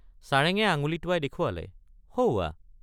চাৰেঙে আঙুলি টোৱাই দেখুৱালে সৌৱা।